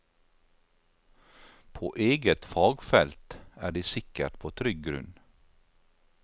På eget fagfelt er de sikkert på trygg grunn.